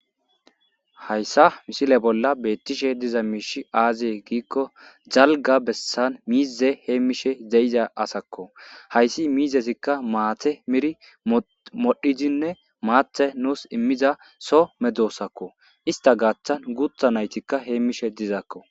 hayssa misile bolla beettishe diza miishi aazie giikko jalga bessan miize heemmishe zeyiza asakko hayssi miizesikka maate miri modhidinne maathe nuus immiza so medoossakko ista gaaththan guutha naytikka heemmishe dizaakko